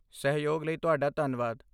ਸਹਿਯੋਗ ਲਈ ਤੁਹਾਡਾ ਧੰਨਵਾਦ।